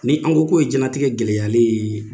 Ni an ko k'o ye jɛnlatigɛ gɛlɛyalen ye